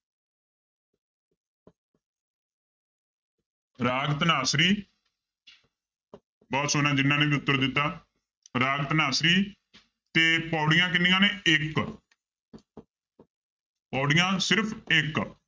ਰਾਗ ਧਨਾਸਰੀ ਬਹੁਤ ਸੋਹਣਾ ਜਿਹਨਾਂ ਨੇ ਵੀ ਉੱਤਰ ਦਿੱਤਾ ਰਾਗ ਧਨਾਸਰੀ ਤੇ ਪਾਉੜੀਆਂ ਕਿੰਨੀਆਂ ਨੇ ਇੱਕ ਪਾਉੜੀਆਂ ਸਿਰਫ਼ ਇੱਕ